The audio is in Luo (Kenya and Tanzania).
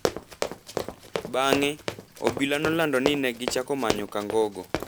Bang’e, obila nolando ni ne gichako manyo Kangogo,